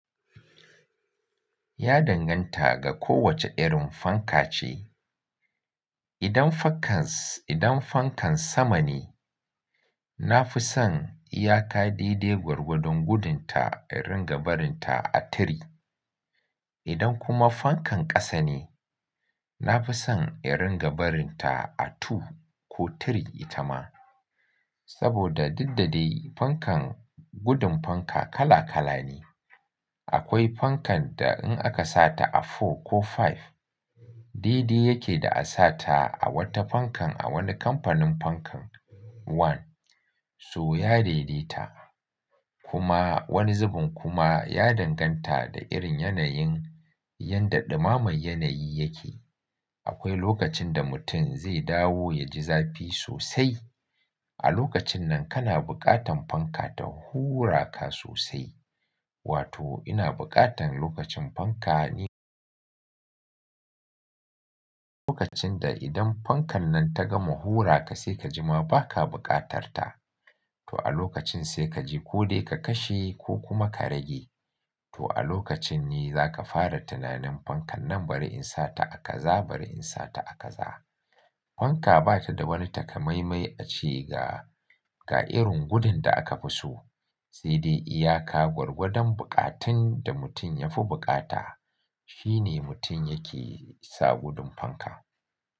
Ya danganta ga kowace irin fanka ce. Idan fankas, idan fankan sama ne, na fi son iyaka dai-dai gwargwadon gudun ta, in ringa barin ta a tri. Idan kuma fankan ƙasa ne, na fi son in ringa barin ta a two ko three ita ma. Saboda didda dai fankan gudun fanka kala kala ne. Akwai fankan da in aka sa ta a four ko five, dai-dai yake da a sa ta a wata fankan a wani kamfanin fankan one. So ya daidaita. Kuma wani zubin kuma ya danganta da irin yanayin yadda ɗumaman yanayi yake. Akwai lokacin da mutum zai dawo ya ji zafi sosai. A lokacin nan kana buƙatan fanka ta hura ka sosai. Wato ina buƙatan lokacin fanka ne. Lokacin da idan fankan nan ta gama hura ka sai ka ji ma ba ka buƙatar ta, to a lokacin sai ka je ko dai ka kashe ko kuma ka rage. To a lokacin ne za ka fara tunanin fankan nan bari in sa ta a kaza, bari in sa ta a kaza. Fanka ba ta da wani takamaimai ace ga irin gudun da aka fi so. Sai dai iyaka gwargwadon buƙatan da mutum ya fi buƙata. Shine mutum yake sa gudun fanka.